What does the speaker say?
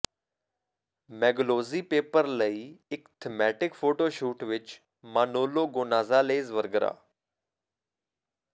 ਮੈਗੂਲੋਜੀ paper ਲਈ ਇੱਕ thematic photo shoot ਵਿਚ ਮਾਨੋਲੋ ਗੋਨਾਜ਼ਾਲੇਜ਼ ਵਰਗਰਾ